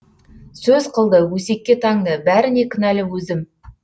сөз қылды өсекке таңды бәріне кінәлі өзім